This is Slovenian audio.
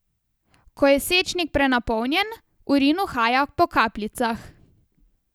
Ko je sečnik prenapolnjen, urin uhaja po kapljicah.